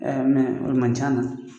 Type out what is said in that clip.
mɛ o de man ca a la.